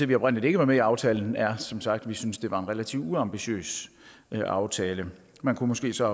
vi oprindelig ikke var med i aftalen er som sagt at vi synes at det var en relativt uambitiøs aftale man kunne måske så